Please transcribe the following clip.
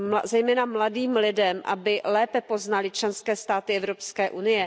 zejména mladým lidem, aby lépe poznali členské státy EU.